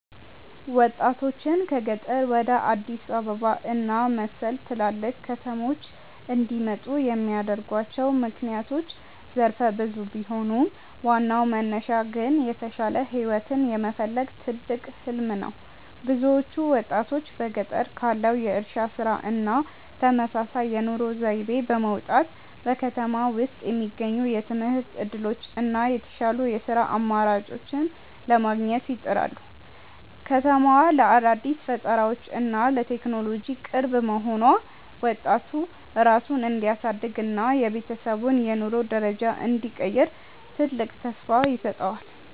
ወጣቶችን ከገጠር ወደ አዲስ አበባ እና መሰል ትላልቅ ከተሞች እንዲመጡ የሚያደርጓቸው ምክንያቶች ዘርፈ ብዙ ቢሆኑም፣ ዋናው መነሻ ግን የተሻለ ህይወትን የመፈለግ ትልቅ "ህሊም" ነው። ብዙዎቹ ወጣቶች በገጠር ካለው የእርሻ ስራ እና ተመሳሳይ የኑሮ ዘይቤ በመውጣት፣ በከተማ ውስጥ የሚገኙትን የትምህርት እድሎች እና የተሻሉ የስራ አማራጮችን ለማግኘት ይጥራሉ። ከተማዋ ለአዳዲስ ፈጠራዎች እና ለቴክኖሎጂ ቅርብ መሆኗ፣ ወጣቱ ራሱን እንዲያሳድግ እና የቤተሰቡን የኑሮ ደረጃ እንዲቀይር ትልቅ ተስፋ ይሰጠዋል።